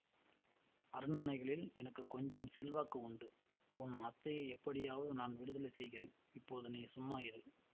அரண்மனைகளில் எனக்கும் கொஞ்சம் செல்வாக்கு உண்டு உன் அத்தையை எப்படியாவது நான் விடுதலை செய்கிறேன் இப்போது நீ சும்மா இரு